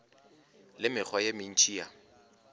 le mekgwa ye mentši ya